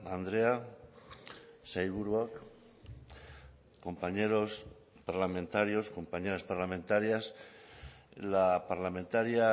andrea sailburuok compañeros parlamentarios compañeras parlamentarias la parlamentaria